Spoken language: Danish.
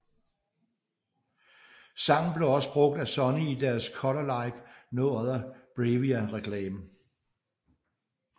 Sangen blev også brugt af Sony i deres Color Like No Other BRAVIA reklame